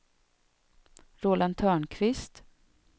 Roland Törnqvist